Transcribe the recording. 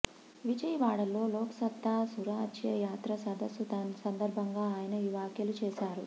విజయవాడలో లోక్సత్తా సురాజ్య యాత్ర సదస్సు సందర్భంగా ఆయన ఈ వ్యాఖ్యలు చేశారు